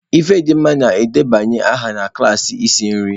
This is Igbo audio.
Ifedimma na-edebanye aha na klaasị isi nri